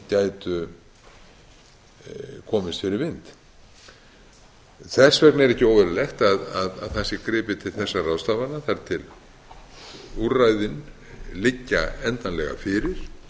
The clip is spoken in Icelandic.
gætu komist fyrir vind þess vegna er ekki óeðlilegt að það sé gripið til þessara ráðstafana þar til úrræðin liggja endanlega fyrir